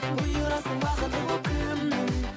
бұйырасың бақыты боп кімнің